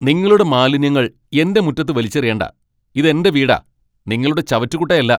നിങ്ങളുടെ മാലിന്യങ്ങൾ എന്റെ മുറ്റത്ത് വലിച്ചെറിയണ്ടാ. ഇത് എന്റെ വീടാ, നിങ്ങളുടെ ചവറ്റുകുട്ടയല്ല!